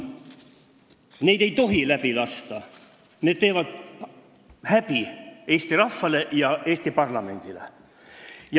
Neid ei tohi läbi lasta, need teevad häbi Eesti rahvale ja Eesti parlamendile.